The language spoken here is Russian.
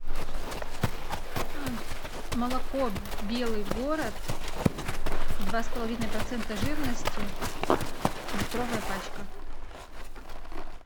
молоко белый город два с половиной процента жирности литровая пачка